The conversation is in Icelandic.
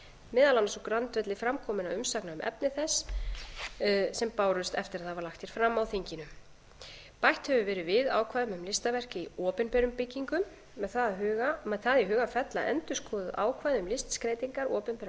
meðal annars á grundvelli framkominna umsagna um efni þess sem bárust eftir að það var lagt hér fram á þinginu bætt hefur verið við ákvæðum um listaverk í opinberum byggingum með það í huga að fella endurskoðuð ákvæði um listskreytingar opinberra